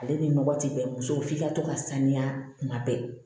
Ale ni nɔgɔ ti bɛn muso f'i ka to ka saniya kuma bɛɛ